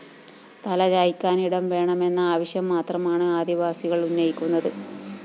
തലചായ്ക്കാനിടം വേണമെന്ന ആവശ്യം മാത്രമാണ് ആദിവാസികള്‍ ഉന്നയിക്കുന്നത്